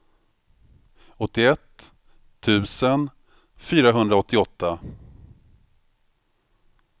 åttioett tusen fyrahundraåttioåtta